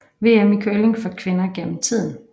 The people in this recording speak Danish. VM i curling for kvinder gennem tiden